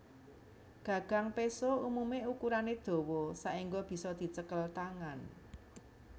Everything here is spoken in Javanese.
Gagang péso umumé ukurané dawa saéngga bisa dicekel tangan